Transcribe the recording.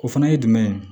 O fana ye jumɛn ye